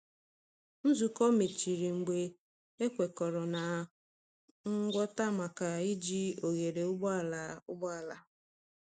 Nzukọ mechịrị mgbe a kwekọrọ na ngwọta maka iji oghere ụgbọala. ụgbọala.